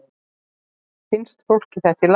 Finnst fólki þetta í lagi?